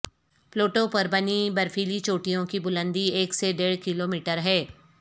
Pluto پر بنی برفیلی چوٹیوں کی بلندی ایک سے ڈیڑھ کلومیٹر ہے